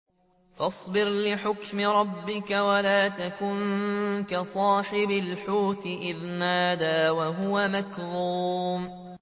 فَاصْبِرْ لِحُكْمِ رَبِّكَ وَلَا تَكُن كَصَاحِبِ الْحُوتِ إِذْ نَادَىٰ وَهُوَ مَكْظُومٌ